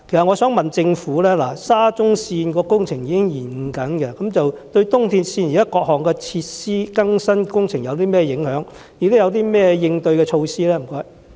我想問政府，沙中線工程現正出現延誤，對東鐵線現時各項設施更新工程有何影響？當局有何應對措施？